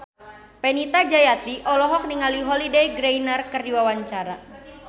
Fenita Jayanti olohok ningali Holliday Grainger keur diwawancara